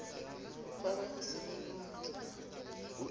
ba ba ho se boloke